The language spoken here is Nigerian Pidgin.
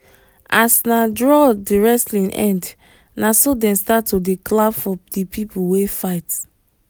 as na draw the wrestling end naso them start to dey clap for the people wey fight